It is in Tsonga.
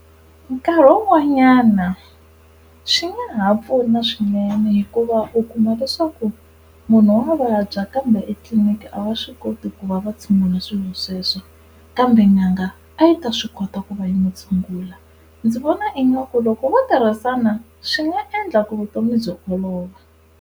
Nkarhi wun'wanyana swi nga ha pfuna swinene hikuva u kuma leswaku munhu wa vabya kambe etliliniki a va swi koti ku va va tshungula swilo sweswo kambe n'anga a yi ta swi kota ku va yi n'wi tshungula. Ndzi vona ingaku loko vo tirhisana swi nga endla ku vutomi byi olova.